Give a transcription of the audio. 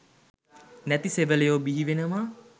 නැති සෙවලයො බිහිවෙනවා.